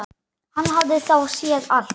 Hann hafði þá séð allt!